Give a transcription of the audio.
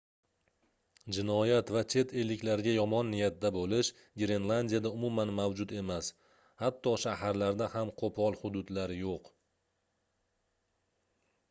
jinoyat va chet elliklarga yomon niyatda boʻlish grenlandiyada umuman mavjud emas hatto shaharlarda ham qoʻpol hududlar yoʻq